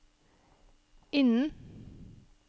innen